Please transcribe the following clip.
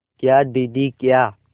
क्या दीदी क्या